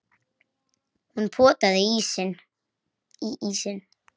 Hún potaði í ísinn.